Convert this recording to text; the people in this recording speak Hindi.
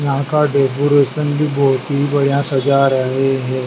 यहां का डेकोरेशन भी बोहोत ही बढ़िया सजा रहे है।